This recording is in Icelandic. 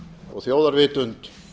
og þjóðarvitund